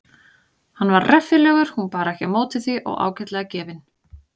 Hann var reffilegur hún bar ekki á móti því og ágætlega gefinn.